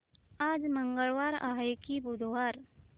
आज मंगळवार आहे की बुधवार